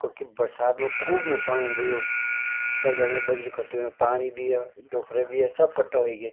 कखी बरसात मा खूब नुक्सान हुंदु यो तब जाके बजरी इकट्ठी हुई पाणी भी अर डोखरा भी य सब कट्ठा ह्वे गे।